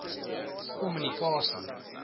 kommunikasie